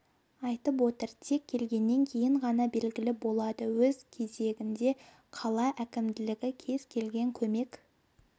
айтып отыр тек келгеннен кейін ғана белгілі болады өз кезегінде қала әкімдігі кез келген көмек